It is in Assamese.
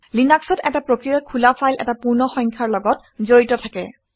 লিনাক্সত এটা প্ৰক্ৰিয়াৰ খোলা ফাইল এটা পূৰ্ণ সংখ্যাৰ লগত জড়িত থাকে